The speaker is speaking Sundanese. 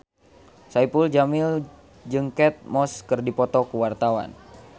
Saipul Jamil jeung Kate Moss keur dipoto ku wartawan